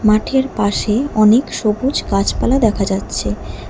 মাঠের পাশে অনেক সবুজ গাছপালা দেখা যাচ্ছে।